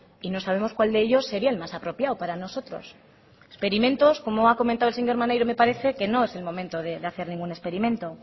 y no sabemos cuál de ellos sería el más apropiado para nosotros experimentos como ha comentado el señor maneiro me parece que no es el momento de hacer ningún experimento